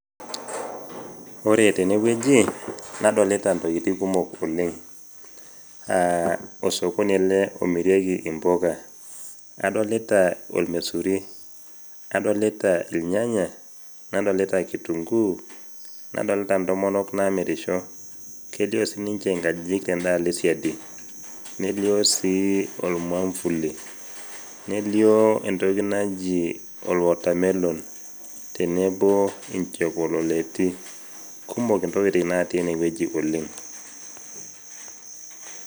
Ore tene wueji nadolta ntokitin kumok oleng . Aa osokoni ele omirieki impuka . Adolita ormaisuri, nadolita irnyanya , nadolita kitunguu, nadolita ntomonok namirisho. Kelioo sininche nkajijik tendaalo esiadi , nelioo sii ormwambuli, nelio entoki naji or watermelon , tenebo nkipololeti ,kumokntokitin natii ene wueji oleng.